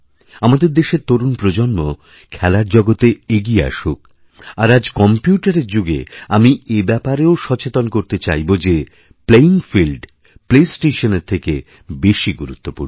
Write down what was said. আমাদের দেশের তরুণ প্রজন্ম খেলার জগতে এগিয়ে আসুক আর আজকম্প্যুটারের যুগে আমি এ ব্যাপারেও সচেতন করতে চাইব যে প্লেয়িং ফিল্ডপ্লেস্টেশনের থেকে বেশি গুরুত্বপূর্ণ